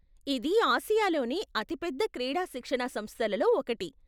ఇది ఆసియాలోనే అతి పెద్ద క్రీడా శిక్షణా సంస్థలలో ఒకటి.